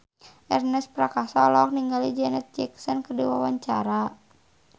Ernest Prakasa olohok ningali Janet Jackson keur diwawancara